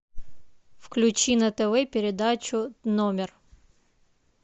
включи на тв передачу номер